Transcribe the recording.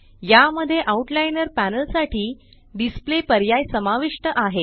या मध्ये outliner panel साठी डिस्प्ले पर्याय समाविष्ट आहे